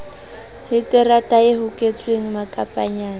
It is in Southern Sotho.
le terata e hoketsweng makapanyana